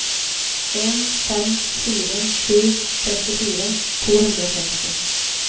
en fem fire sju trettifire to hundre og seksti